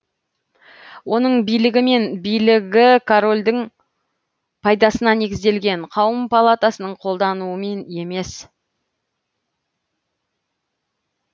оның билігі мен билігі корольдің пайдасына негізделген қауым палатасының қолдауымен емес